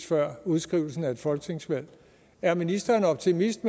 før udskrivelsen af et folketingsvalg er ministeren optimist